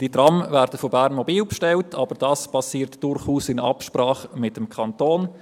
Die Trams werden zwar von Bernmobil bestellt, aber das geschieht durchaus in Absprache mit dem Kanton.